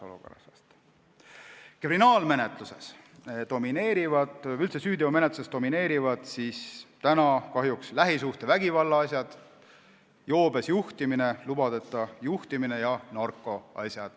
Kriminaalmenetluses või üldse süüteomenetluses domineerivad kahjuks lähisuhtevägivallaasjad, joobes juhtimine, lubadeta juhtimise asjad ja narkoasjad.